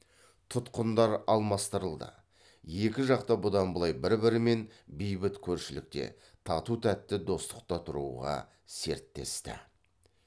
тұтқындар алмастырылды екі жақта бұдан былай бір бірімен бейбіт көршілікте тату тәтті достықта тұруға серттесті